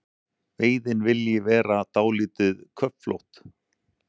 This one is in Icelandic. Veiðin vilji vera dálítið köflótt.